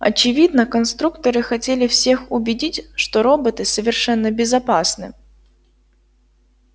очевидно конструкторы хотели всех убедить что роботы совершенно безопасны